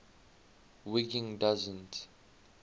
wiggin doesn t